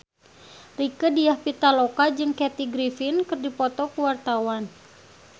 Rieke Diah Pitaloka jeung Kathy Griffin keur dipoto ku wartawan